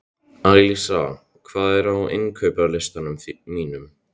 Alísa, hvað er á innkaupalistanum mínum?